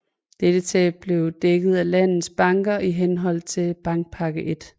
Dette tab blev dækket af landets banker i henhold til Bankpakke 1